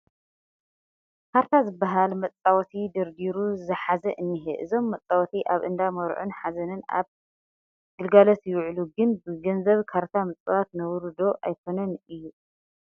ካርታ ዝበሃል መፃወቲ ደርዲሩ ዝሓዘ እኒሀ፡፡ እዞም መፃወቲ ኣብ እንዳ መርዑን ሓዘንን ኣብ ግልጋሎት ይውዕሉ፡፡ ግን ብገንዘብ ካርታ ምፅዋት ነውሪ ዶ ኣይኮነን እዩ?